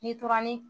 Ni tora ni